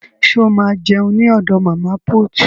Ṣo ma jẹun ní ọ̀dọ̀ màmá put?